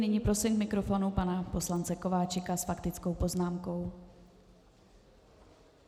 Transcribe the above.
Nyní prosím k mikrofonu pana poslance Kováčika s faktickou poznámkou.